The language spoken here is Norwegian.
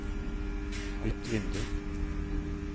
bytt vindu